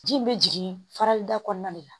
Ji bɛ jigin farali da kɔnɔna de la